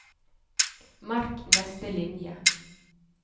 Merk neste linje